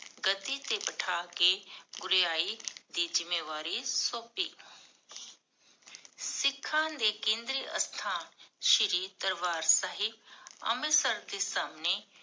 ਗੱਦੀ ਤੇ ਬਠਾ ਕੇ, ਗੁਰਿਆਈ ਦੀ ਜ਼ਿਮ੍ਮੇਵਾਰੀ ਸੋਮ੍ਪੀ ਸਿਖਾਂ ਦੇ ਕੇਂਦਰ ਅਸਥਾਨ ਸ਼੍ਰੀ ਦਰਬਾਰ ਸਾਹਿਬ ਅੰਮ੍ਰਿਤਸਰ ਦੇ ਸਾਹਮਣੇ